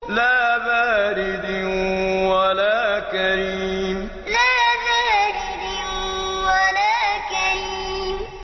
لَّا بَارِدٍ وَلَا كَرِيمٍ لَّا بَارِدٍ وَلَا كَرِيمٍ